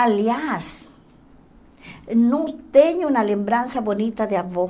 Aliás, não tenho uma lembrança bonita de avô.